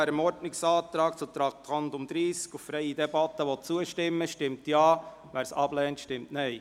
Wer dem Ordnungsantrag auf freie Debatte betreffend Traktandum 30 zustimmen will, stimmt Ja, wer dies ablehnt, stimmt Nein.